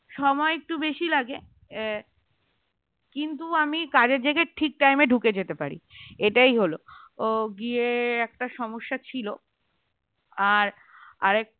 সময় একটু বেশি লাগে কিন্তু আমি কাজের জায়গায় ঠিক time এ ঢুকে যেতে পারি এটাই হল ও গিয়ে একটা সমস্যা ছিল আর আর একটা